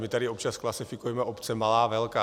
My tady občas klasifikujeme obce - malá, velká.